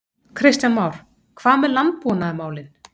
Kristján Már: Hvað með landbúnaðarmálin?